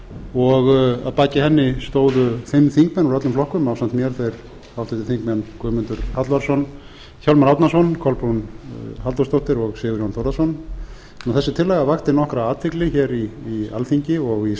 og að baki henni stóðu fimm þingmenn úr öllum flokkum ásamt mér þeir háttvirtir þingmenn guðmundur hallvarðsson hjálmar árnason kolbrún halldórsdóttir og sigurjón þórðarson þessi tillaga vakti nokkra athygli hér í alþingi og í